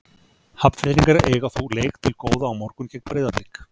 Hafnfirðingar eiga þó leik til góða á morgun gegn Breiðablik.